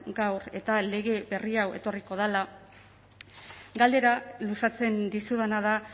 eta lege berri hau etorriko dela galdera luzatzen dizudana da